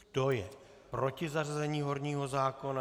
Kdo je proti zařazení horního zákona?